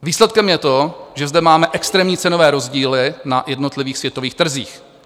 Výsledkem je to, že zde máme extrémní cenové rozdíly na jednotlivých světových trzích.